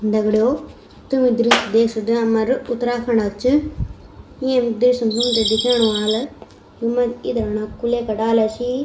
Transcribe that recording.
दगडियों तुम ये दृश्य देख सक्दा यु हमरा उत्तराखण्डो क च येम दृश्य तुम्थे दिखेण वाल युमा इथाना कुले का डाला छी।